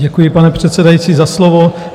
Děkuji, pane předsedající, za slovo.